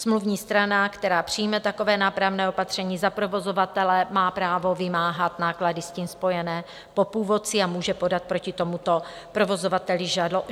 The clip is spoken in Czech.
Smluvní strana, která přijme takové nápravné opatření za provozovatele, má právo vymáhat náklady s tím spojené po původci a může podat proti tomuto provozovateli žalobu.